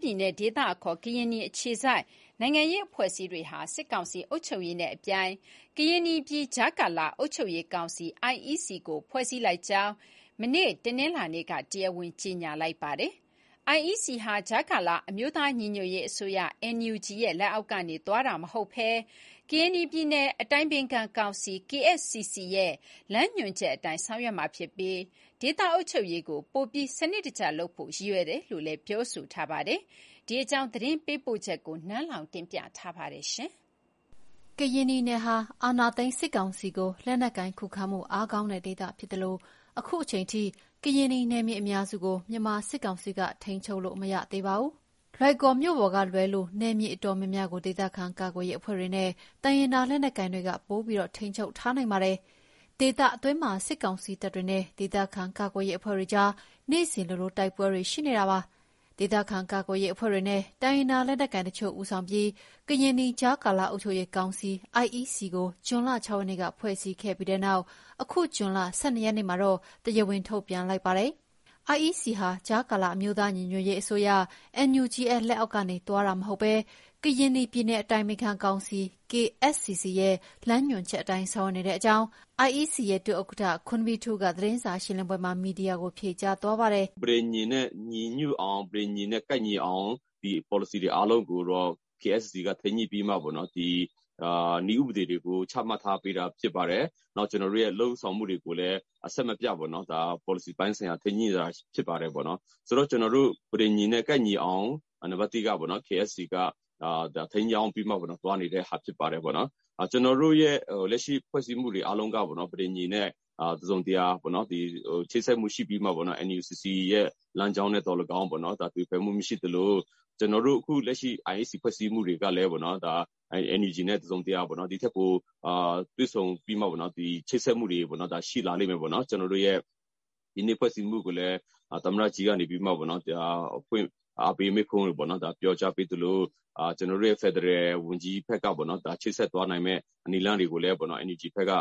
ပြည်နယ် ဒေသအခေါ် ကရင်နီ အခြေစိုက် နိုင်ငံရေးအဖွဲ့အစည်းတွေဟာ စစ်ကောင်စီအုပ်ချုပ်ရေးနဲ့ အပြိုင် ကရင်နီပြည်ကြားကာလအုပ်ချုပ်ရေးကောင်စီ (IEC)ကို ဖွဲ့စည်းလိုက်ကြောင်း တနင်္လာနေ့က တရားဝင် ကြေညာလိုက်ပါတယ်။ IEC ဟာ ကြားကာလအမျိုးသားညီညွှတ်ရေး အစိုးရ(NUG)ရဲ့ လက်အောက်ကနေ သွားတာမဟုတ်ဘဲ ကရင်နီပြည်နယ် အတိုင်ပင်ခံကောင်စီ (KSCC) ရဲ့ လမ်းညွှန်ချက်အတိုင်း ဆောင်ရွက်မှာဖြစ်ပြီး ဒေသအုပ်ချုပ်ရေးကို ပိုပြီး စနစ်တကျလုပ်ဖို့ ရည်ရွယ်တယ်လို့ဆိုပါတယ်။ ဒီအကြောင်း သတင်းပေးပို့ချက်ကို နန်းလောဝ်ပြောပြမှာပါ။ ကရင်နီနယ်ဟာ အာဏာသိမ်းစစ်ကောင်စီကို လက်နက်ကိုင်ခုခံမှုအားကောင်းတဲ့ ဒေသဖြစ်သလို၊ အခုအချိန် အထိ ကရင်နီနယ်မြေအများစုကို မြန်မာစစ်ကောင်စီက ထိန်းချုပ်လို့မရသေးပါဘူး။ လွိုင်ကော်မြို့ပေါ်ကလွဲ နယ်မြေအတော်များများကို ဒေသခံကာကွယ်ရေးအဖွဲ့တွေနဲ့ တိုင်းရင်းသား လက်နက်ကိုင်တွေက ပိုပြီးထိန်းချုပ်ထားနိုင်ပါတယ်။ ဒေသအတွင်းမှာ စစ်ကောင်စီတပ်တွေနဲ့ ဒေသခံကာကွယ်ရေးအဖွဲ့ တွေအကြား နေ့စဉ်လိုလို တိုက်ပွဲတွေရှိနေတာပါ။ ဒေသခံကာကွယ်ရေးအဖွဲ့တွေနဲ့ တိုင်းရင်းသား လက်နက်ကိုင်တချို့ ဦးဆောင်ပြီး ကရင်နီကြားကာလအုပ်ချုပ်ရးကောင်စီ (IEC) ကို ဇွန်လ ၆ ရက်နေ့က ဖွဲ့စည်းခဲ့ပြီး အခု ဇွန်လ ၁၂ ရက်နေ့မှာတော့ တရားဝင်ထုတ်ပြန်လိုက်ပါတယ်။ IEC ဟာ ကြားကာလအမျိုးသားညီညွှတ်ရေး အစိုးရ(NUG)ရဲ့ လက်အောက်ကနေ သွားတာမဟုတ်ဘဲ ကရင်နီပြည်နယ်အတိုင်ပင်ခံကောင်စီ(KSCC) ရဲ့ လမ်းညွှန်ချက်အတိုင်း ဆောင်ရွက်နေတဲ့အကြောင်း IEC ရဲ့ ဒုဥက္ကဋ္ဌ ခွန်းဘီးထူး သတင်းစာရှင်လင်းပွဲမှာ မီဒီယာတွေကို ဖြေကြားသွားပါတယ်။ “ ပဋိညာဉ်နဲ့ ညီညွတ်အောင် ပဋိညာဉ် နဲ့ ကိုက်ညီအောင် ဒီပေါ်လစီတွေ အားလုံးကိုတော့ KSCC က ထိန်းညှိုပြီးမှပေ့ါနော်၊ ဒီနည်းဥပဒေတွေကို ချမှတ်ထားပေးတာဖြစ်ပါတယ်၊ နောက်ကျနော်တို့ရဲ့ လုပ်ဆောင်မှုတွေကို အဆင်မပြတ်ပေါ့၊ ဒါပေါ်လစီပိုင်းဆိုင်ရာ ထိန်းညှိတာ ဖြစ်ပါတယ်။ ဆိုတော့ ကျနော်တို့ ပဋိညာဉ် နဲ့ ကိုက်ညီအောင် နံပါတ်(၁)က KSCC က ဒါထိန်းကျောင်းပြီးတော့ သွားနေတဲ့ဟာ ဖြစ်ပါတယ်။ ကျနော်တို့ရဲ့ လက်ရှိ ဖွဲ့စည်းမှုတွေ အားလုံးကပေါ့နော် ပဋိညာဉ်နဲ့ တစုံတရာပေါ့။ ချိတ်ဆက်မှုရှိပြီးမှ NUCC ရဲ့ လမ်းကြောင်းနဲ့သော်လည်းကောင်းပေါ့ ဒါ… သွေဖယ်မှုမရှိသလို ကျနော်တို့ အခု လက်ရှိ IEC ဖွဲ့စည်းမှုတွေကလည်းပေါ့နော်၊ ဒါ NUG နဲ့ တစုံတရာ ပေါ့။ ဒီထက်ပိုတွေ့ဆုံပြီးမှပေါ့နော်၊ ဒီ ချိတ်ဆက်မှုတွေပေါ့နော် ရှိလာလိမ့်မယ်ပေါ့နော်၊ ကျနော်တို့ရဲ့ ဒီနေ့ဖွဲ့စည်းမှုကိုလည်း သမ္မတ ကြီးကနေပြီးတော့ အဖွင့်အားပေးမိန့်ခွန်းတွေပေါ့/ ပြောကြားပေးသလို ကျနော်တို့ရဲ့ ဖယ်ဒရယ်ဝန်ကြီးဖက်က၊ ဒါ ချိတ်ဆက်သွားနိုင်မယ့် နည်းလမ်းတွေကိုလည်း NUG ဖက်က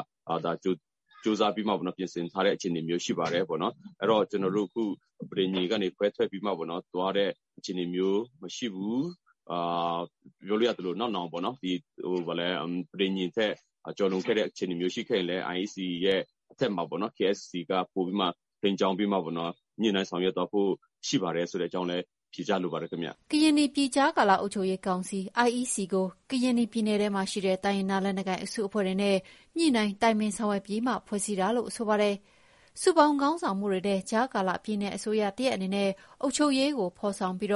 ကြိုးစားပြီးမှပေါ့နော်။ ပြင်ဆင်ထားတဲ့ အခြေအနေမျိုးရှိပါတယ်ပေါ့၊ အဲ့တော့ ကျနော်တို့ အခု ပဋိညာဉ်က ခွဲထက်ပြီးတော့ သွားတဲ့ အခြေအနေမျိုးမရှိဘူး ပြောလို့ရသလို ပြီးတော့ နောက်နောင် ပဋိညာဉ် ထက်ကျော်လွန်ခဲ့တဲ့ အခြေအနေမျိုးရှိခဲ့ရင်လည်း IEC ရဲ့ အထက်မှာ KSCC က ပိုပြီးမှ ထိန်းကျောင်းပေးမှာပေါ့နော် ညှိနှိုင်းဆောင်ရွက်သွားဖို့ ရှိပါတယ်ဆိုတဲ့အကြောင်းဖြေကြားလိုပါတယ်ခင်ဗျာ။” ကရင်နီပြည်ကြားကာလအုပ်ချုပ်ရေးကောင်စီ(IEC) ကို ကရင်နီပြည်ထဲမှာ ရှိတဲ့ တိုင်းရင်းသားလက်နက်ကိုင် အစုအဖွဲ့တွေနဲ့ ညှိုနှိုင်းတိုင်ပင်ဆောင်ရွက်ပြီးမှ ဖွဲ့စည်းတာလို့ဆိုပါတယ်။ စုပေါင်းခေါင်းဆောင်မှုများနဲ့ ကြားကာလပြည်နယ်အစိုးရတရပ်အနေနဲ့ အုပ်ချုပ်ရေးကို ဖော်ဆောင်ပြီး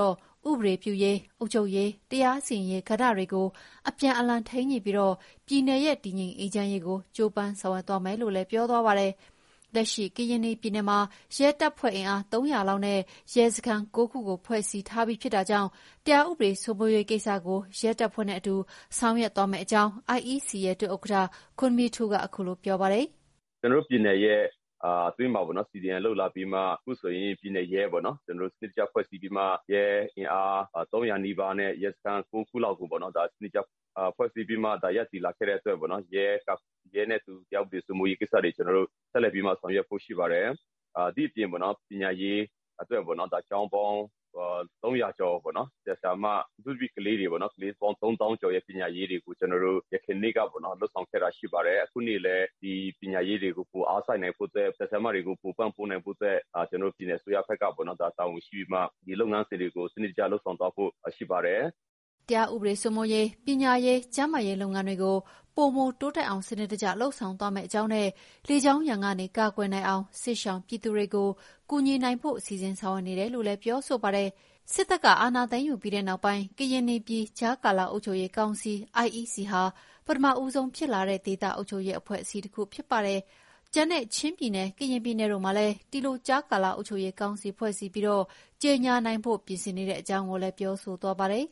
ဥပဒေပြုရေး၊ အုပ်ချုပ်ရေး၊ တရာစီရင်ရေးကဏ္ဍတွေကို အပြန်အလှန်ထိန်းညှိပြီးတော့ ပြည်နယ်ရဲ့ တည်ငြိမ်အေးချမ်းရေးကို ကြိုးပမ်းဆောင်သွားမယ်လို့ ပြောသွားပါတယ်။လက်ရှိ ကရင်နီပြည်မှာ ရဲတပ်ဖွဲ့ အင်အား ၃၀၀ လောက်နဲ့ ရဲစခန်း ၉ ခုကို ဖွဲ့စည်းထားပြီးဖြစ်တာကြောင့် တရားဥပဒေစိုးမိုးရေးကိစ္စကို ရဲတပ်ဖွဲ့နဲ့အတူ ဆောက်ရွက်သွားမယ့်အကြောင်း IEC ရဲ့ ဒုဥက္ကဋ္ဌ ခွန်းဘီးထူး က ခုလို ပြောပါတယ်။ “ကျနော်တို့ ပြည်နယ်ရဲ့အတွင်းမှာပေ့ါနော်။ CDM လုပ်လာပြီးမှ အခုဆိုရင် ပြည်နယ်ရဲပေါ့နော်။ ကျနော်တို့ စနစ်တကျဖွဲ့စည်းပြီးမှ ရဲ့ အင်အား ၃၀၀ နီးပါးနဲ့ ရဲစခန်း ၉ ခုလောက်ကို ဒါ စနစ်တကျ ဖွဲ့စည်းပြီးမှ ဒါရပ်တည်လာခဲ့တဲ့အတွက်ပေါ့။ ရဲနဲ့အတူ တရားဥပဒေစိုးမိုးရေးကိစ္စတွေ ကျနော်တို့ ဆက်လက်ပြီးမှ ဆောက်ရွက်ဖို့ရှိပါတယ်၊ ဒါ့အပြင် ပညာရေးအတွက် ကျောင်းပေါင်း ၃၀၀ ကျော် ဆရာ ဆရာမ ၊ အထူးသဖြင့် ကလေးပေါင်း ၃သောင်းကျော်ရဲ့ ပညာရေးတွေကို ကျနော်တို့ ယခုနှစ် လုပ်ဆောင်ခဲ့တာ ရှိပါတယ်။ အခုနှစ်လည်းဒီပညာရေးတွေကို အားစိုက်နိုင်ဖို့အတွက် ဆရာ ဆရာမတွေကို ပိုပံ့နိုင်ဖို့အတွက် ကျနော်တို့ ပြည်နယ်အစိုးရဖက်ကပေါ့။ ဒါတာဝန်ရှိပြီးမှ ဒီလုပ်ငန်းစဉ်တွေကို စနစ်တကျလုပ်ဆောင်သွားဖို့ ရှိပါတယ်။” တရားဥပဒေစိုးမိုးရေး၊ ပညာရေး၊ ကျန်းမာရေးလုပ်ငန်းစဉ်တွေကို ပိုမိုတိုးတက်အောင် စနစ်တကျ လုပ်ဆောင်သွားမယ့်အကြောင်းနဲ့ လေကြောင်းရန်ကနေ ကာကွယ်နိုင်အောင် စစ်ရှောင်ပြည်သူတွေကို ကူညီနိုင်ဖို့ စီစဉ်ဆောင်ရွက်နေတယ်လို့လည်း ပြောဆိုပါတယ်။ စစ်တပ်အာဏာသိမ်းယူပြီးနောက်ပိုင်း ကရင်နီပြည်ကြားကာလအုပ်ချုပ်ရေးကောင်စီ (IEC)ဟာ ပထမဦးဆုံးဖြစ်လာတဲ့ ဒေသအုပ်ချုပ်ရေးအဖွဲ့အစည်းတခုဖြစ်ပါတယ်။ ကျန်တဲ့ ချင်းပြည်နယ် ကရင်ပြည်နယ်တို့မှာလည်း ဒီလိုကြားကာလအုပ်ချုပ်ရေးကောင်စီဖွဲ့စည်းပြီး ကြေညာနိုင်ဖို့ ပြင်ဆင်နေတဲ့အကြောင်းကိုလည်း ပြောဆိုသွားပါတယ်။